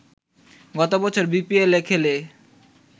গত বছর বিপিএলে খেলে